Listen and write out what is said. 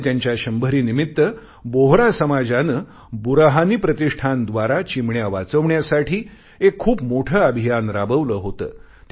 आणि त्यांच्या शंभरीनिमित्त बोहरा समाजाने बुरहानी प्रतिष्ठानद्वारा चिमण्या वाचवण्यासाठी एक खूप मोठे अभियान राबवले होते